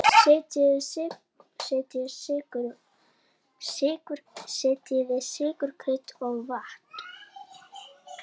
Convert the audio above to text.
Setjið sykur, krydd og vatn.